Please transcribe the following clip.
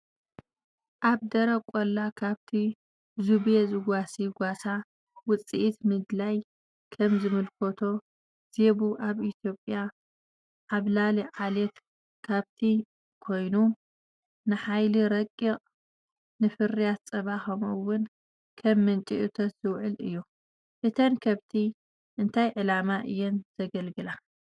ኣብ ደረቕ ቆላ ከብቲ ዜቡ ዝጓሲ ጓሳ። ውጽኢት ምድላይ ከም ዘመልክቶ፡ ዜቡ ኣብ ኢትዮጵያ ዓብላሊ ዓሌት ከብቲ ኮይኑ፡ ንሓይሊ ረቂቕ፡ ንፍርያት ጸባ፡ ከምኡ’ውን ከም ምንጪ እቶት ዝውዕል እዩ። እተን ከብቲ እንታይ ዕላማ እየን ዘገልግላ?